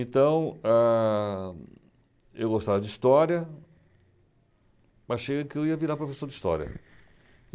Então, ãhm, eu gostava de História, mas achei que eu ia virar professor de História.